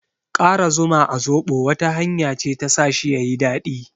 Ƙara zuma a zoɓo wata hanya ce ta sa shi yayi daɗi.